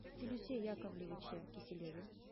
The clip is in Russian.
филюсе яковлевиче киселеве